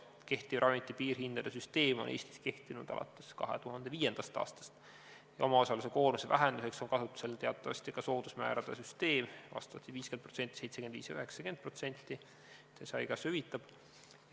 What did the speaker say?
Kehtiv ravimite piirhindade süsteem on Eestis kehtinud alates 2005. aastast ja omaosaluse koormuse vähendamiseks on kasutusel teatavasti ka soodusmäärade süsteem, vastavalt 50%, 75% ja 90%, mille haigekassa hüvitab.